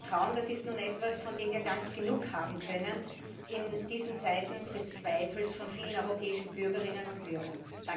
Und Vertrauen ist nun etwas, von dem wir gar nicht genug haben können in diesen Zeiten des Zweifels von vielen europäischen Bürgerinnen und Bürgern.